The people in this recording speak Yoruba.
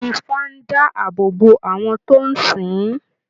Ifá ń dá àbò bó àwọn tó ń sìn ìn